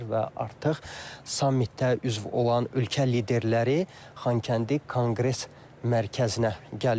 Və artıq sammitdə üzv olan ölkə liderləri Xankəndi Konqres Mərkəzinə gəlirlər.